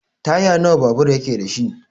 Taya nawa babur yake dashi?